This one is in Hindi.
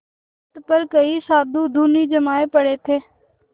तट पर कई साधु धूनी जमाये पड़े थे